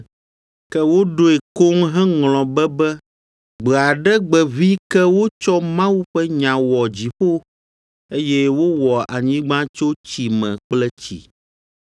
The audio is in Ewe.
Ke woɖoe koŋ heŋlɔ be be gbe aɖe gbe ʋĩi ke wotsɔ Mawu ƒe nya wɔ dziƒo, eye wowɔ anyigba tso tsi me kple tsi.